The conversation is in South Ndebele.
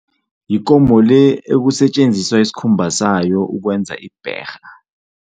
Yikomo le ekusetjenziswa isikhumba sayo ukwenza ibherha.